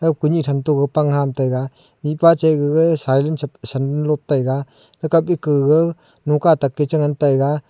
a kuni than to pang hang taiga mihpa cha gaga sailen cha sandal lot taiga akap eka ga noka tak ka cha ngan taiga.